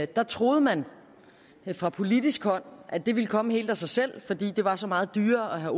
der troede man fra politisk hold at det ville komme helt af sig selv fordi det var så meget dyrere at have